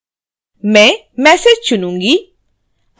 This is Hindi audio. मैं message चुनूँगी